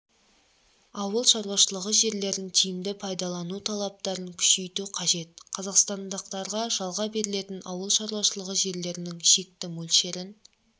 ауыл шаруашылығы жерлерін тиімді пайдалану талаптарын күшейту қажет қазақстандықтарға жалға берілетін ауыл шаруашылығы жерлерінің шекті мөлшерін